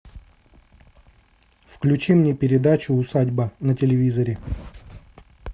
включи мне передачу усадьба на телевизоре